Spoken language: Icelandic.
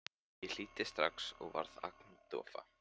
Ég hlýddi strax og varð agndofa.